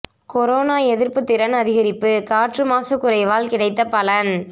corona எதிர்ப்பு திறன் அதிகரிப்பு காற்று மாசு குறைவால் கிடைத்த பலன்